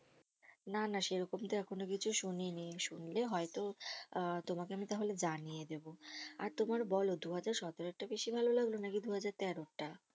না না সেরকম তো এখনো কিছু শুনিনি, শুনলে হয়তো আহ তোমাকে আমি তাহলে জানিয়ে দেবো আর তোমার বলো দুহাজার সতেরোর টা বেশি ভালো লাগলো নাকি দুহাজার তেরোটা?